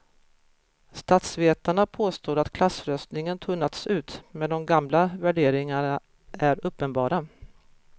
Statsvetarna påstår att klassröstningen tunnats ut men de gamla värderingarna är uppenbara.